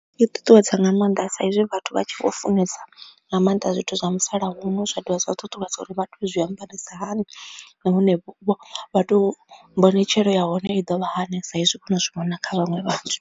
I ṱuṱuwedza nga maanḓa sa izwi vhathu vha tshi vho funesa nga maanḓa zwithu zwa musalauno zwa dovha zwa ṱuṱuwedza uri vhathu zwi ambarisa hani nahone vha to mbonetshela ya hone i ḓovha hani sa izwi vho no zwi vhona kha vhaṅwe vhathu.